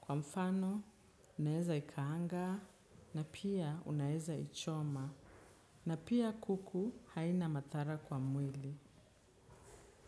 kwa mfano, unaeza ikaanga na pia unaeza ichoma. Na pia kuku haina matara kwa mwili.